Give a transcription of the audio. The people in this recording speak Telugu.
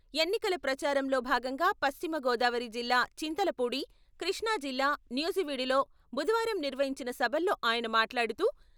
ఎన్నికల ప్రచారంలో భాగంగా పశ్చిమ గోదావరి జిల్లా చింతలపూడి, కృష్ణాజిల్లా నూజివీడులో బుధవారం నిర్వహించిన సభల్లో ఆయన మాట్లాడుతూ...